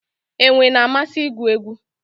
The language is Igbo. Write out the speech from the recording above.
Enwe na-amasị igwu egwu